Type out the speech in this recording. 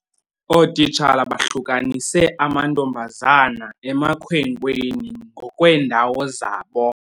Ootitshala bahlukanise amantombazana emakhwenkweni ngokweendawo zabo.